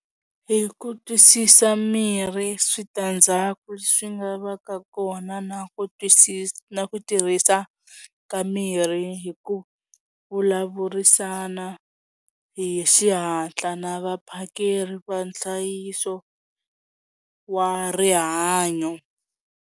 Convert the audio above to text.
Hi ku twisisa mirhi switandzhaku swi nga va ka kona na ku twisisa na ku tirhisa ka mirhi hi ku vulavurisana hi xihatla na vaphakeri va nhlayiso wa rihanyo.